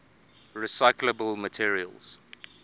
recyclable materials